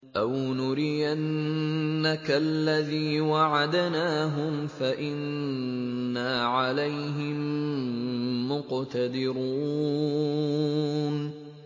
أَوْ نُرِيَنَّكَ الَّذِي وَعَدْنَاهُمْ فَإِنَّا عَلَيْهِم مُّقْتَدِرُونَ